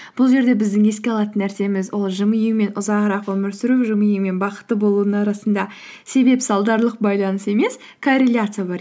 бұл жерде біздің еске алатын нәрсеміз ол жымию мен ұзағырақ өмір сүру жымию мен бақытты болудың арасында себеп салдарлық байланыс емес корреляция бар